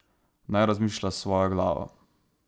Naj razmišlja s svojo glavo.